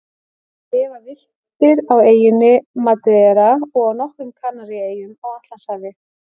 Þeir lifa villtir á eyjunni Madeira og á nokkrum Kanaríeyjum á Atlantshafi.